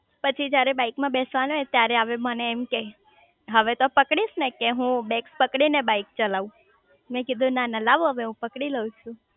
પછી જયારે બાઈક માં બેસવાનું આવે ત્યારે આવે મને એમ કે હવે તો પકડીશ ને કે બેગ્સ પકડી ને બાઈક ચલાવ મેં કીધું ના ના લાવો હવે હું પકડી લવ છું